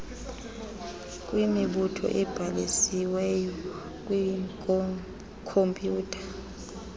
lwemibutho ebhalisiwey kwikhompyutha